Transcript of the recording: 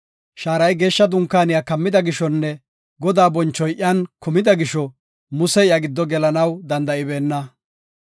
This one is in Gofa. Shaaray Geeshsha Dunkaaniya kammida gishonne Godaa bonchoy iyan kumida gisho, Musey iya giddo gelanaw danda7ibeenna.